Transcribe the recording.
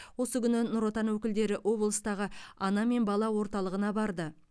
осы күні нұр отан өкілдері облыстағы ана мен бала орталығына барды